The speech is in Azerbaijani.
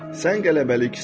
Sən qələbəliksən.